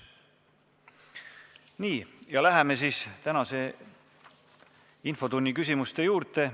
Nii, läheme siis tänase infotunni küsimuste juurde.